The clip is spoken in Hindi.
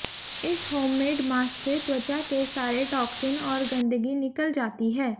इस होममेड मास्क से त्वचा के सारे टॉक्सिंस और गंदगी निकल जाती है